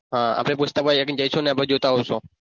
હા આપણે પૂછતા આપણી જઈશું ને આપણે જોતા આવશું